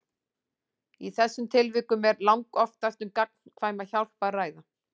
Í þessum tilvikum er langoftast um gagnkvæma hjálp að ræða.